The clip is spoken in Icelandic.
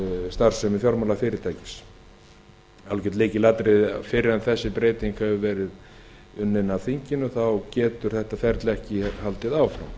starfsemi fjármálafyrirtækis það er algert lykilatriði fyrr en þessi breyting hefur verið unnin af þinginu getur þetta ferli ekki haldið áfram